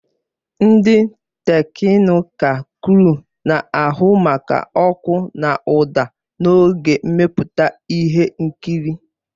Ndị teknịkal kruu na-ahụ maka ọkụ na ụda n'oge mmepụta ihe nkiri.